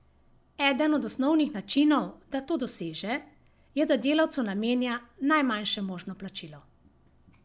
Eden od osnovnih načinov, da to doseže, je da delavcu namenja najmanjše možno plačilo.